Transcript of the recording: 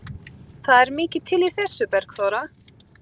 Það er mikið til í þessu, Bergþóra.